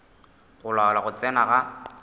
go laola go tsena ga